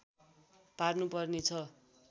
पार्नुपर्ने छ